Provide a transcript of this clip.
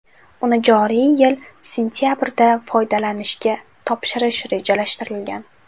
Uni joriy yil sentabrda foydalanishga topshirish rejalashtirilgan.